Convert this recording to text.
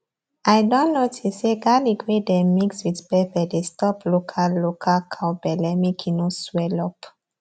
i don notice say garlic wey dem mix with pepper dey stop local local cow belle make e no swell up